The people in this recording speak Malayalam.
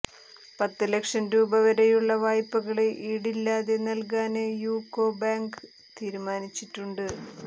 പത്ത് ലക്ഷം രൂപ വരെയുള്ള വായ്പകള് ഈടില്ലാതെ നല്കാന് യൂക്കോ ബാങ്ക് തീരുമാനിച്ചിട്ടുണ്ട്